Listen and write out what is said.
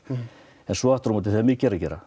en svo aftur á móti þegar mikið er að gera